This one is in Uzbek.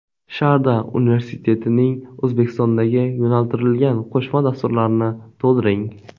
Sharda universitetining O‘zbekistondagi yo‘naltirilgan qo‘shma dasturlarini to‘ldiring.